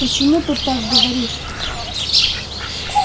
почему ты так говоришь